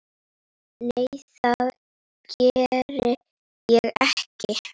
Nei, það geri ég ekki.